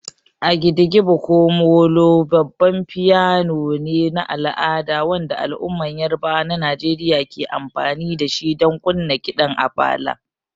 The agidigbo ko '''molo''' babban piano ne na al'ada wanda al'ummar Yarabawa na Najeriya ke amfani da shi don kunna kiɗan Apala.